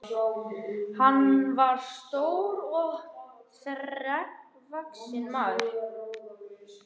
Hann var stór og þrekvaxinn maður.